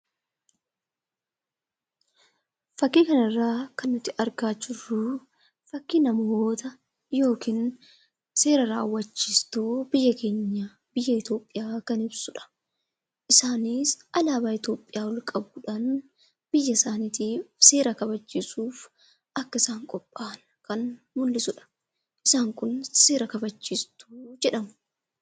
Fakkii kanarraa kan nuti argaa jirru fakkii namoota yookiin seera raawwachiistuu biyya keenya biyya Itoophiyaa kan ibsudha. Isaanis alaabaa Itoophiyaa ol qabuudhaan biyya usaanuif seera raawwachiisuuf akka qophaa'an kan mul'isudha. Isaan kun seera raawwachiistuu jedhamu.